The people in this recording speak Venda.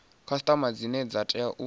khasiṱama dzine dza tea u